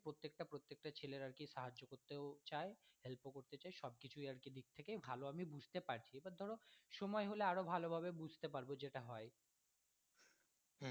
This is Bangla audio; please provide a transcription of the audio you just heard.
প্রত্যেকটা ছেলের আর কি সাহায্য করতেও চায় help ও করতে চায় সব কিছুই আর কি দিক থেকে ভালো আমি বুঝতে পারছি এবার ধরো সময় হলে আরো ভালোভাবে বুঝতে পারবে যেটা হয়।